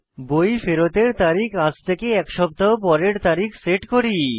বই ফেরতের তারিখ আজ থেকে এক সপ্তাহ পরের তারিখ সেট করি